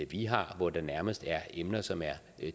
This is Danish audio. vi har og hvor der nærmest er emner som er